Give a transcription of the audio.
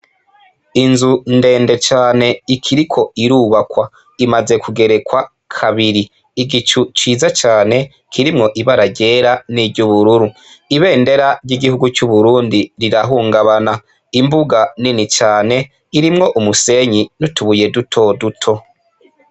Inzu ndende cane ikiriko irubakwa imaze kugerekwa kabiri igicu ciza cane kirimwo ibararyera n'iryo ubururu ibendera ry'igihugu c'uburundi rirahungabana imbuga nini cane irimwo umusenyi nutubuye duto duto.